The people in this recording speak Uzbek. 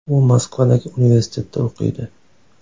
U Moskvadagi universitetda o‘qiydi.